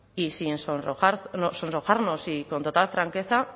y sin sonrojarnos y con total franqueza